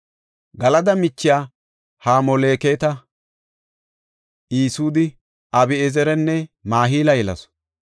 Galada michiya Hamoleketa, Isude, Abi7ezeranne Mahila yelasu.